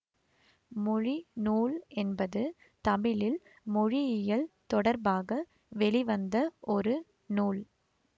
மொழி நூல் என்பது தமிழில் மொழியியல் தொடர்பாக வெளிவந்த ஒரு நூல்